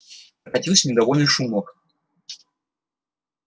прокатился недовольный шумок